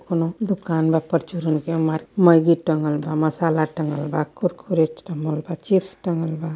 कोनो दुकान बा परचूरन के मार मैगी टंगल बा मसाला टंगल बा कुरकुरे टंगल बा चिप्स टंगल बा।